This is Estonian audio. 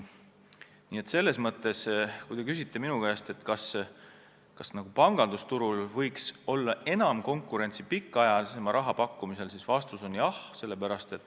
Nii et kui te küsite minu käest, kas pangandusturul võiks olla enam konkurentsi pikaajalisema laenu pakkumisel, siis vastus on jah.